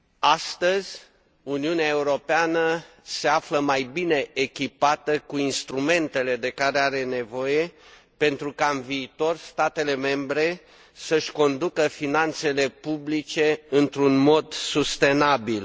Astăzi, Uniunea Europeană se află mai bine echipată cu instrumentele de care are nevoie pentru ca, în viitor, statele membre să și conducă finanțele publice într un mod sustenabil.